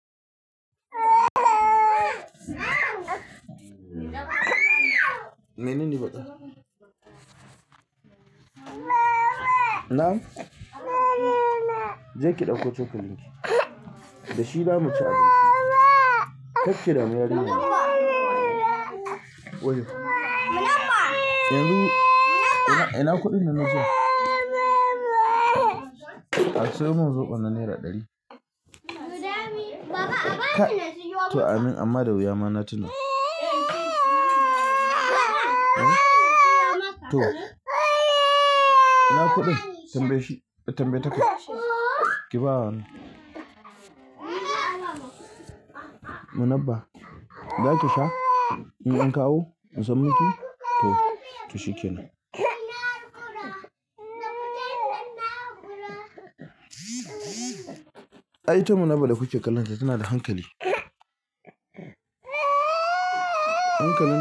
Menene matsalar? Na'am? Je ki ɗauko cokalin ki. Da shi zamu ci abinci. Karki damu yarinya. Wayyo. Yanzu ina, ina kuɗin nan na jiya? A sayo min zoɓon na naira ɗari. To amin amma da wuya ma na tuna. To. Ina kuɗin? Tambaye shi, tambaye ta kai. Ki ba wane? Munabba, zaki sha? In an kawo? In san mu ki? To, to shikenan. Ai ita Munabba da kuke kallanta tana da hankali. Hankalin ta.